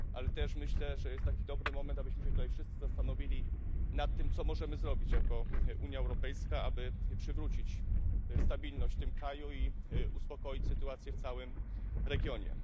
Ale też myślę, że to jest taki dobry moment, abyśmy się tutaj wszyscy zastanowili nad tym, co możemy zrobić jako Unia Europejska, aby przywrócić stabilność w tym kraju i uspokoić sytuację w całym regionie.